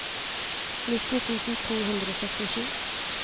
nitti tusen to hundre og syttisju